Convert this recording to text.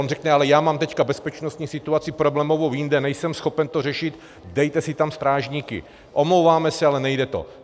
On řekne: ale já mám teď bezpečnostní situaci problémovou jinde, nejsem schopen to řešit, dejte si tam strážníky, omlouváme se, ale nejde to.